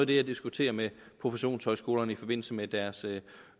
det jeg diskuterer med professionshøjskolerne i forbindelse med deres